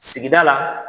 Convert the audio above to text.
Sigida la